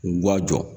K'u ka jɔ